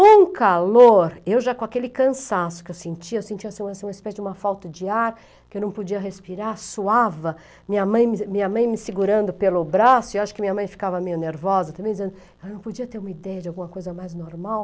Um calor, eu já com aquele cansaço que eu sentia, eu sentia assim uma uma espécie de uma falta de ar, que eu não podia respirar, suava, minha mãe minha mãe me segurando pelo braço, eu acho que minha mãe ficava meio nervosa também, dizendo que eu não podia ter uma ideia de alguma coisa mais normal.